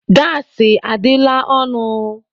Gaasị adịla ọnụ.